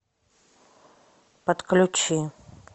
подключи